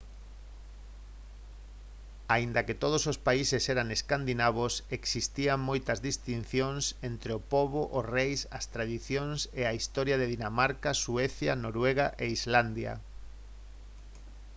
aínda que todos os países eran escandinavos existían moitas distincións entre o pobo os reis as tradicións e a historia de dinamarca suecia noruega e islandia